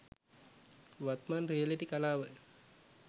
වත්මන් රියලිටි කලාව